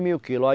mil quilos. aí